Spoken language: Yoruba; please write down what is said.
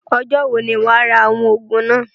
Ọjọ́ wo ni wàá rà àwọn òògùn náà?